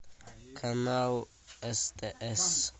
канал стс